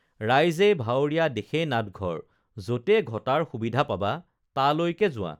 ৰাইজেই ভাৱৰীয়া দেশেই নাটঘৰ যতে ঘটাৰ সুবিধা পাবা তালৈকে যোৱা